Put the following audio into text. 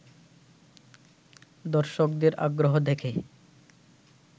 দর্শকদের আগ্রহ দেখে